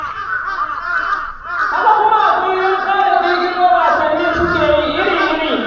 Haka kuma a kullum ƙara ƙirƙiro wasannin suke yi iri-iri.